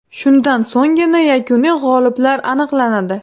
Shundan so‘nggina yakuniy g‘oliblar aniqlanadi.